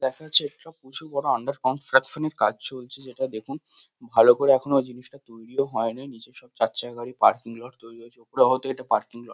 দেখা যাচ্ছে একটা প্রচুর বড় আন্ডার কনস্ট্রাকশন -এর কাজ চলছে যেটা দেখুন ভালো করে এখনো জিনিসটা তৈরিও হয়নাই। নিচে সব চারচাকা গাড়ির পার্কিং লট তৈরী হয়েছে ওপরে হয়তো এটা পার্কিং লট ।